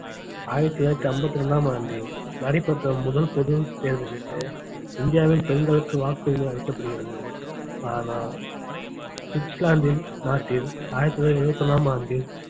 ஆயிரத்தி தொள்ளாயிரத்தி ஐம்பத்தி ரெண்டாம் ஆண்டில் நடைபெற்ற முதல் பொது தேர்தலிலே இந்தியாவில் பெண்களுக்கு வாக்குரிமை அளிக்கப்படுகிறது ஆனால் சுவிட்சர்லாந்து நாட்டில் ஆயிரத்தி தொள்ளாயிரத்தி எழுபத்தி ஒண்ணாம் ஆண்டில்